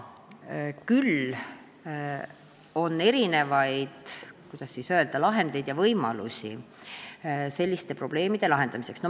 Küll on olemas erinevaid, kuidas siis öelda, lahendeid ja võimalusi selliste probleemide lahendamiseks.